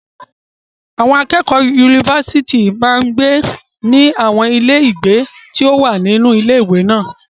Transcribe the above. Àwọn akẹ́kọ̀ọ́ yunifásítì máa ń gbé ní àwọn ilé ìgbé tí ó wà nínú ilé ìwé náà.